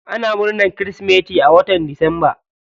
Ana murnan kirismeti a watan disamba.